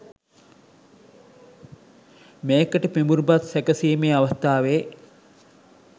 මේකට පිඹුරුපත් සැකසීමේ අවස්ථාවේ